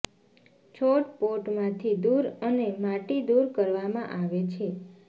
છોડ પોટ માંથી દૂર અને માટી દૂર કરવામાં આવે છે